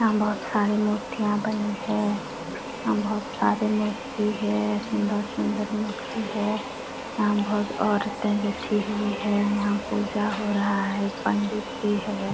यहाँ बहुत सारे मूर्तियां बनी है यहाँ बहुत सारे मूर्ति है सुंदर -सुंदर मूर्ति है यहाँ बहुत औरते बैठी हुई है यहाँ पूजा हो रहा है पंडित भी है।